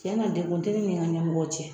Tiɲɛ na, dekun te ne ni n ka ɲɛmɔgɔw cɛ.